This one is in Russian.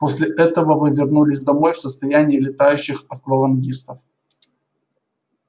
после этого вы вернулись домой в состоянии летающих аквалангистов